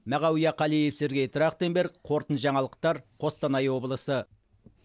мағауия қалиев сергей трахтенберг қорытынды жаңалықтар қостанай облысы